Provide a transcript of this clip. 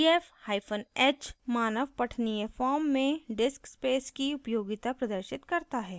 dfhyphen h मानव पठनीय form में disk space की उपयोगिता प्रदर्शित करता है